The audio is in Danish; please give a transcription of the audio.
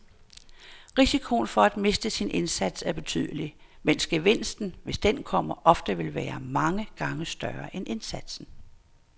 Risikoen for at miste sin indsats er betydelig, mens gevinsten, hvis den kommer, ofte vil være mange gange større end indsatsen.